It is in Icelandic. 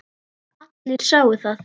Allir sáu það.